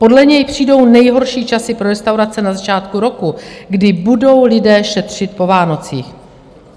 Podle něj přijdou nejhorší časy pro restaurace na začátku roku, kdy budou lidé šetřit po Vánocích.